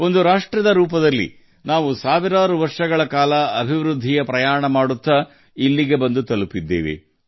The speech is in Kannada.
ಒಂದು ರಾಷ್ಟ್ರವಾಗಿ ನಾವು ಸಾವಿರಾರು ವರ್ಷಗಳ ಅಭಿವೃದ್ಧಿಯ ಪ್ರಯಾಣದ ಮೂಲಕ ಇಲ್ಲಿಯವರೆಗೆ ಬಂದಿದ್ದೇವೆ